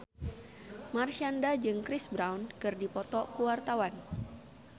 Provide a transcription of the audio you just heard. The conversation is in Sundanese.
Marshanda jeung Chris Brown keur dipoto ku wartawan